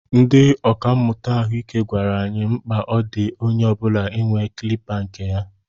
Ndị ọkà mmụta ahụike gwara anyị mkpa ọ dị onye ọbula inwe kilipa kne ya.